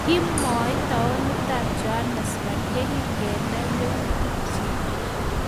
kimwechi taunitab Joanesburg yekingenai youtikchich